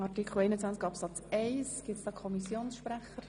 Oder wünschen Einzelsprecher das Wort?